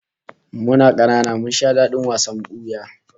Muna kanana mun sha dadin wasan buya